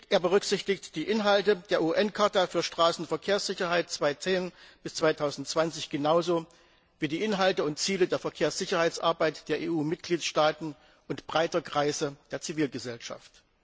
Er berücksichtigt die Inhalte der UN Charta für Straßenverkehrssicherheit 2010 bis 2020 genauso wie die Inhalte und Ziele der Verkehrssicherheitsarbeit der EU Mitgliedstaaten und breiter Kreise der Zivilgesellschaft.